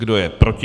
Kdo je proti?